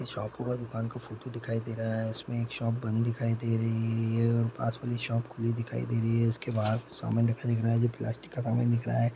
ये शॉप का दुकान का फोटो दिखाई दे रहा है इसमें एक शॉप बंद दिखाई दे रही है. और पास वाली शॉप खुली दिखाई दे रही है| उसके सामान रखा दिख रहा है जो प्लास्टिक का सामान दिख रहा है।